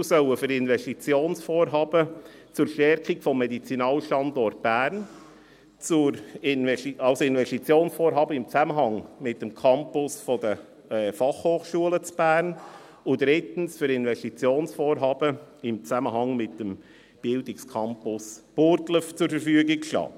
Die Mittel sollen für Investitionsvorhaben zur Stärkung des Medizinalstandorts Bern, für Investitionsvorhaben in Zusammenhang mit dem Campus der Fachhochschulen in Bern und drittens für Investitionsvorhaben in Zusammenhang mit dem Bildungscampus Burgdorf zur Verfügung stehen.